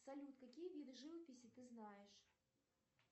салют какие виды живописи ты знаешь